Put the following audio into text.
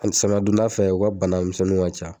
Ani samiya donda fɛ u ka banamisɛnninw ŋa ca.